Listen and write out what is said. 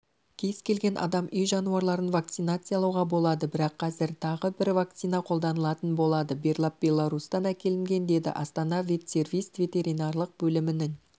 кез-келген адам үй жануарларын вакцинациялауға болады бірақ қазір тағы бір вакцина қолданылатын болады берлап беларусьтан әкелінген деді астана ветсервис ветеринарлық бөлімінің